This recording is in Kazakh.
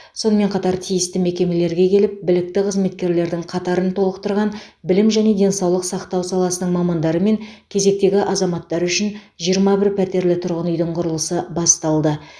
сонымен қатар тиісті мекемелерге келіп білікті қызметкерлердің қатарын толықтырған білім және денсаулық сақтау саласының мамандары мен кезектегі азаматтар үшін жиырма бір пәтерлі тұрғын үйдің құрылысы басталды